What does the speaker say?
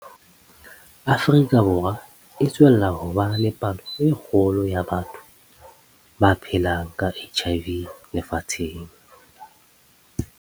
Afrika Borwa e tswella ho ba le palo e kgolo ya batho ba phelang ka HIV lefatsheng.